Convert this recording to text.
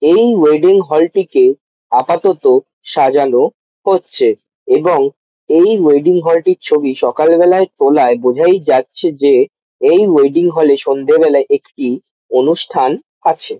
এই wedding hall -টিকে আপাতত সাজানো হচ্ছে এবং এই ওয়েডিং হল টির ছবি সকালবেলা তোলায় বোঝাই যাচ্ছে যে এই ওয়েডিং হল -এ সন্ধ্যেবেলায় একটি অনুষ্ঠান আছে।